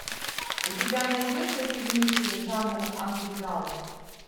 у тебя найдется фильмище жанра андеграунд